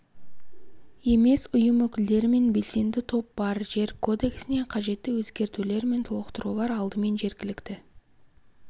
емес ұйым өкілдері мен белсенді топ бар жер кодексіне қажетті өзгертулер мен толықтырулар алдымен жергілікті